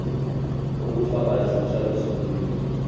ukufaka isicelo sokubika